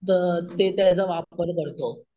तर ते त्याचा वापर करतो.